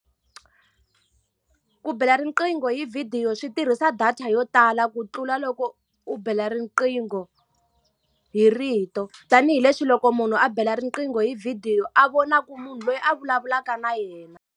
Ku bela riqingho hi vhidiyo swi tirhisa data yo tala ku tlula loko u bela riqingho hi rito. Tanihi leswi loko munhu a bela riqingho hi vhidiyo a vonaka munhu loyi a vulavulaka na yena.